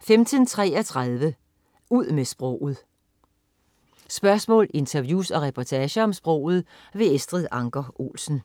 15.33 Ud med sproget. Spørgsmål, interviews og reportager om sproget. Estrid Anker Olsen